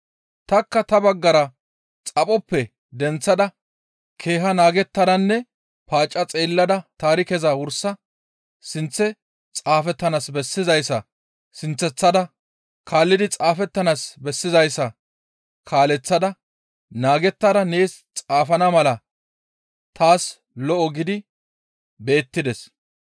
Tanikka ta baggara xaphoppe denththada keeha naagettadanne paacca xeellada taarikeza wursa sinththe xaafettanaas bessizayssa sinththasada kaallidi xaafettanaas bessizayssa kaaleththada naagettada nees xaafana mala taas lo7o gidi beettides.